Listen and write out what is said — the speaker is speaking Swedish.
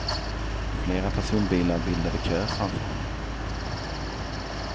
Flera personbilar bildade kö framför honom.